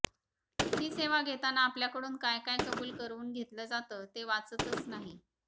ही सेवा घेताना आपल्याकडून काय काय कबूल करवून घेतलं जातं ते वाचतच नाही